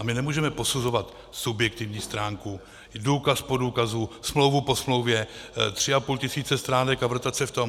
A my nemůžeme posuzovat subjektivní stránku, důkaz po důkazu, smlouvu po smlouvě, tři a půl tisíce stránek a vrtat se v tom.